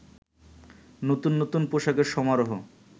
নতুন নতুন পোশাকের সমারহ